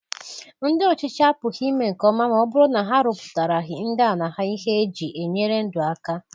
Ndị ọchịchị apụghi ime nkeọma ma ọ bụrụ na ha arọpụtaraghị ndị ala ha ihe e ji enyere ndụ aka.